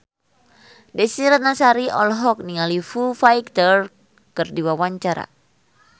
Desy Ratnasari olohok ningali Foo Fighter keur diwawancara